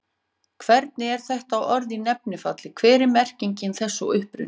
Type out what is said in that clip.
Hvernig er þetta orð í nefnifalli, hver er merking þess og uppruni?